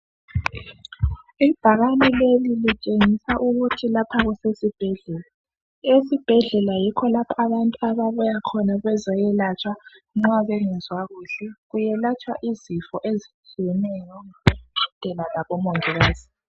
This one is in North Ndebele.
ibhakane leli litshengisa ukuthi lapha kusesi bhedlela esibhedlela yikho lapha abantu ababuya khona bezoyelatsha nxa bengezwa kahle kuyelatshwa izifo ezitshiyeneyo ngodokotela labo mangikazi